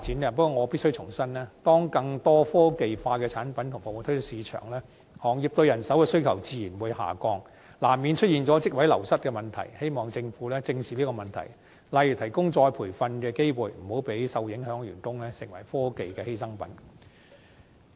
不過，我必須重申，當更多科技化的產品及服務推出市場，行業對人手的需求自然下降，難免出現職位流失的問題，希望政府正視這個問題，例如提供再培訓的機會，以免令受影響的員工成為科技發展的犧牲品。